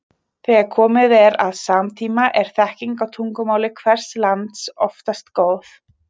þegar komið er að samtíma er þekking á tungumáli hvers lands oftast góð